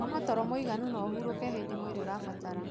Koma toro mwiganu na ũhurũke hĩndĩ mwĩrĩ ũrabatara.